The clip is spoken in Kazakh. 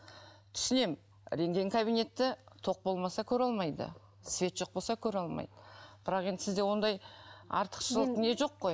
түсінемін рентген кабинеті тоқ болмаса көре алмайды свет жоқ болса көре алмайды бірақ енді сізде ондай артықшылық не жоқ қой